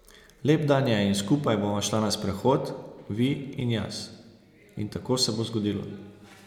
Lep dan je in skupaj bova šla na sprehod, vi in jaz, in tako se bo zgodilo.